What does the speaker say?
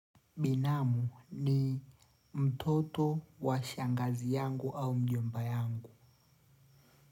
Binamu ni mtoto wa shangazi yangu au mjomba yangu.